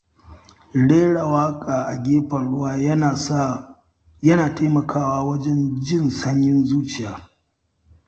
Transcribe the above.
Rera waƙa a gefen ruwa yana taimakawa wajen jin sanyin zuciya.